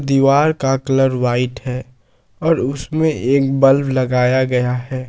दीवार का colour white है और उसमें एक बल्ब लगाया गया है।